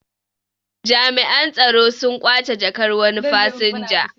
Jami'an tsaro sun ƙwace jakkar wani fasinja